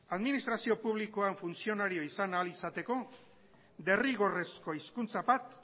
administrazio publikoan funtzionario izan ahal izateko derrigorrezko hizkuntza bat